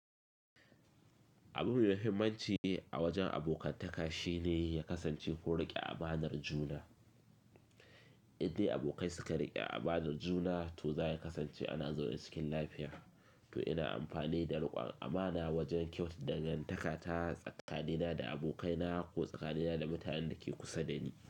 Abu mafimanci a wajen abokanan ka shine ya kasance kun rike amanar juna. Indai abokai suka rike amanar juna, to za ya kasance ana zaune cikin lafiya. To ina amfani da rikon amana wajen kyautata dangantaka ta tsakanina da abokaina ko tsakanina da mutanen da ke kusa da ni.